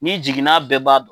N'i jigin n'a bɛɛ ban